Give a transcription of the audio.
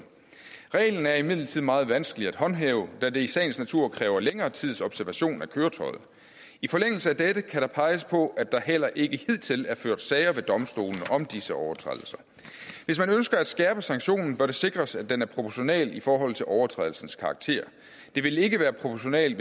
reglen er imidlertid meget vanskelig at håndhæve da det i sagens natur kræver længere tids observation af køretøjet i forlængelse af dette kan der peges på at der heller ikke hidtil er ført sager ved domstolene om disse overtrædelser hvis man ønsker at skærpe sanktionen bør det sikres at den er proportional i forhold til overtrædelsens karakter det vil ikke være proportionalt